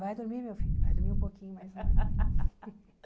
Vai dormir, meu filho, vai dormir um pouquinho mais rápido.